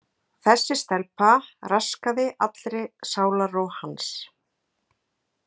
Þessi stelpa raskaði allri sálarró hans.